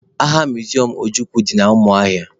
Agha miziọm Ojukwu dị na Umuahia